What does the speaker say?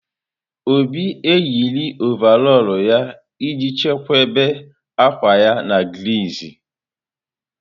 Obi eyiri ọvarọọr ya iji chebe akwa ya na griiz.